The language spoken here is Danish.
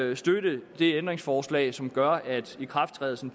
vil støtte det ændringsforslag som gør at ikrafttrædelsen